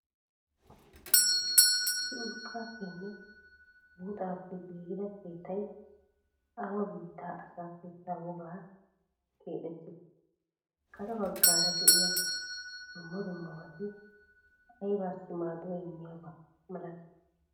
issi urqqappenne buuxappe giggida keettay awa bittaa asaa keettaa wogadan keexxetidee? karee baggara de'iya duummaa duummabati aybasi maaduwa immiyabaa malati?